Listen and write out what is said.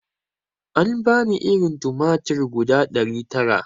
An bani irin tumatir guda ɗari tara